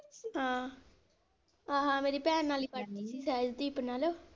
ਹਾਂ ਆਹ ਮੇਰੀ ਭੈਣ ਨਾਲ ਹੀ ਸਹਿਜਦੀਪ ਨਾਲ।